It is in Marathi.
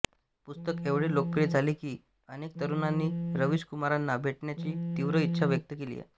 पुस्तक एवढे लोकप्रिय झाले की अनेक तरुणांनी रवीश कुमारांना भेटण्याची तीव्र इच्छा व्यक्त केली आहे